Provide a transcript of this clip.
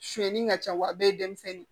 Sonyani ka ca wa bɛɛ ye denmisɛnnin ye